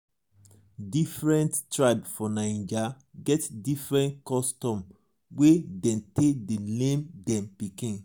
different tribe for naija get different custom wey dem dey take name dem pikin.